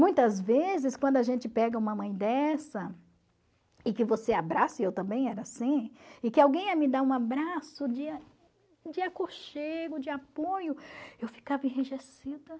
Muitas vezes, quando a gente pega uma mãe dessa, e que você abraça, e eu também era assim, e que alguém ia me dar um abraço de a de aconchego, de apoio, eu ficava enrijecida